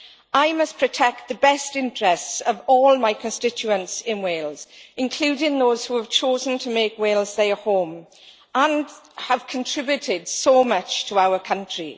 I must protect the best interests of all my constituents in Wales, including those who have chosen to make Wales their home and have contributed so much to our country.